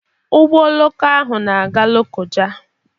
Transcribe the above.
Ụgbọ oloko ahụ na-aga Lokoja.